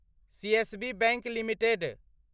CSB bank limited